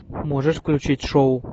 можешь включить шоу